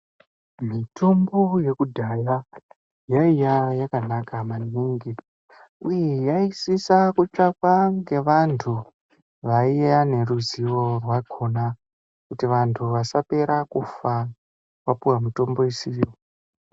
Mitombo yekudhaya yaiya yakanaka maningi uye yaisisa kutsvakwa ngevantu vaiva neruzivo rwakona kuti vantu vasapera kufa vapuwa mitombo isiriyo.